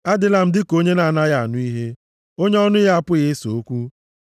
Adịla m dịka onye na-anaghị anụ ihe, onye ọnụ ya apụghị ịsa okwu.